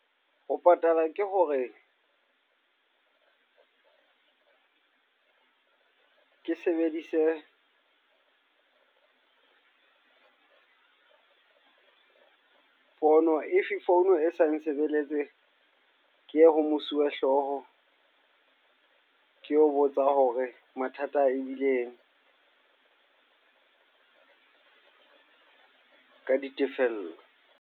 Ho patala ke hore ke sebedise fono. If founu e sa nsebeletse, ke ho mosuwehlooho. Ke ho botsa hore mathata ebileng ka ditefello.